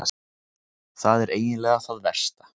Það er eiginlega það versta.